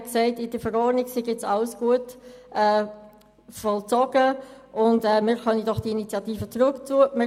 Er sagte, in der Verordnung sei jetzt alles gut vollzogen und wir könnten doch jetzt die Initiative zurückziehen.